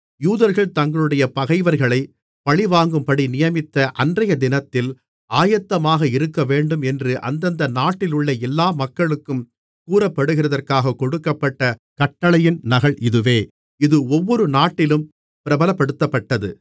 யூதர்கள் தங்களுடைய பகைவர்களைப் பழிவாங்கும்படி நியமித்த அன்றையதினத்தில் ஆயத்தமாக இருக்கவேண்டும் என்று அந்தந்த நாட்டிலுள்ள எல்லா மக்களுக்கும் கூறப்படுகிறதற்காகக் கொடுக்கப்பட்ட கட்டளையின் நகல் இதுவே இது ஒவ்வொரு நாட்டிலும் பிரபலப்படுத்தப்பட்டது